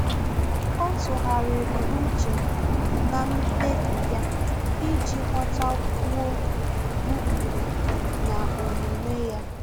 Ọ́ tụ́ghàrị̀rị̀ úchè na mkpébi ya iji ghọ́tákwúọ́ ụ́kpụ́rụ́ na omume ya.